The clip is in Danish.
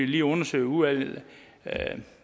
lige undersøge i udvalget